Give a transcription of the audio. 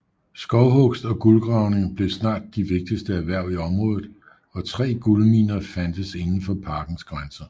Skovhugst og guldgravning blev snart de vigtigste erhverv i området og tre guldminer fandtes inden for parkens grænser